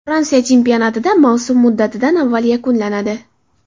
Fransiya chempionatida mavsum muddatidan avval yakunlanadi.